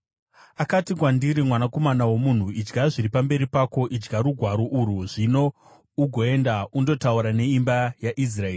Akati kwandiri, “Mwanakomana womunhu, idya zviri pamberi pako, idya rugwaro urwu, zvino ugoenda undotaura neimba yaIsraeri.”